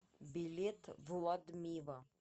билет владмива